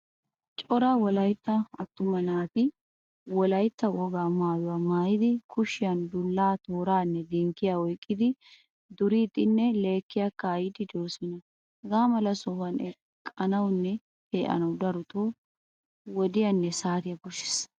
Cora wolaytta attuma naati wolaytta wogaa maayuwaa maayidi kushshiyan dulla tooranne dinkkiyaa oyqqidi duridinne lekiyaa kaa'idi deosona. Hagamala sohuwan eqqanawunne peanawu darotto wodiyaanne saatiyaa koshshees.